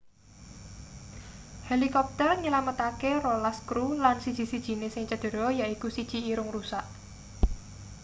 helikopter nylametake rolas kru lan siji-sijine sing cedera yaiku siji irung rusak